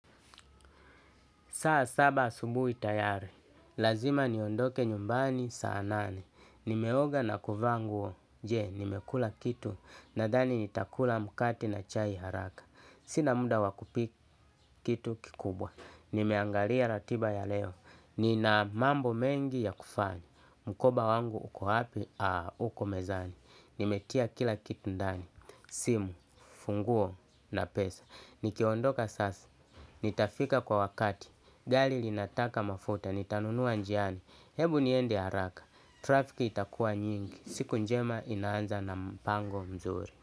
Saa saba asubui tayari. Lazima niondoke nyumbani saa nane. Nimeoga na kuvaa nguo. Je, nimekula kitu. Nadhani nitakula mukati na chai haraka. Sina muda wakupika kitu kikubwa. Nimeangalia ratiba ya leo. Nina mambo mengi ya kufanya. Mkoba wangu uko wapi, uko mezani. Nimetia kila kitu ndani. Simu, funguo na pesa. Nikiondoka sasa. Nitafika kwa wakati. Gali linataka mafuta ni tanunuwa njiani, hebu niende haraka, trafiki itakuwa nyingi, siku njema inaanza na mpango mzuri.